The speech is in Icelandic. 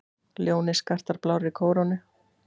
Ljónið skartar blárri kórónu.